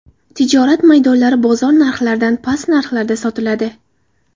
Tijorat maydonlari bozor narxlaridan past narxlarda sotiladi.